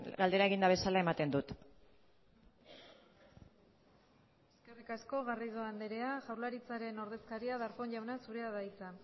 galdera eginda bezala ematen dut eskerri asko garrido andrea jaurlaritzaren ordezkaria darpón jauna zurea da hitza